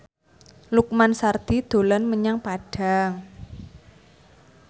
Lukman Sardi dolan menyang Padang